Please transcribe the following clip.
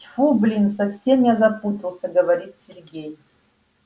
тьфу блин совсем я запутался говорит сергей